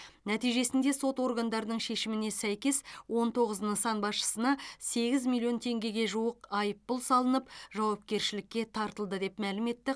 нәтижесінде сот органдарының шешіміне сәйкес он тоғыз нысан басшысына сегіз миллион теңгеге жуық айыппұл салынып жауапкершілікке тартылды деп мәлім етті